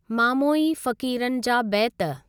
मामोई फ़क़ीरनि जा बैत।